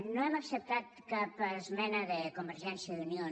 no hem acceptat cap esmena de convergència i unió